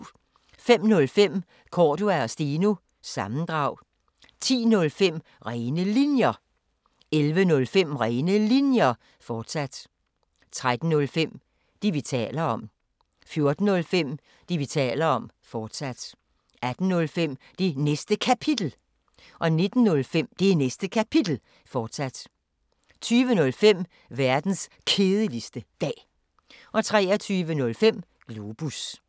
05:05: Cordua & Steno – sammendrag 10:05: Rene Linjer 11:05: Rene Linjer, fortsat 13:05: Det, vi taler om 14:05: Det, vi taler om, fortsat 18:05: Det Næste Kapitel 19:05: Det Næste Kapitel, fortsat 20:05: Verdens Kedeligste Dag 23:05: Globus